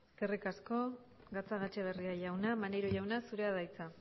eskerrik asko gatzagaetxebarria jauna maneiro jauna zurea da hitza